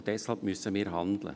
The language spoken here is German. Deshalb müssen wir handeln.